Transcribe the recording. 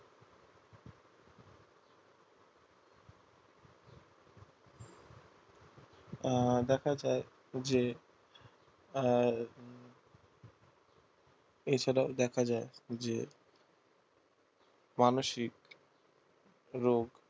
দেখা যায় যে আহ এছাড়াও দেখা যায় যে মানসিক রোগ